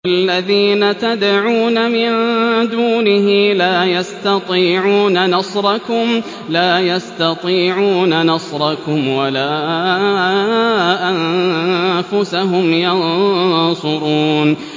وَالَّذِينَ تَدْعُونَ مِن دُونِهِ لَا يَسْتَطِيعُونَ نَصْرَكُمْ وَلَا أَنفُسَهُمْ يَنصُرُونَ